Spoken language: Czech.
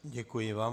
Děkuji vám.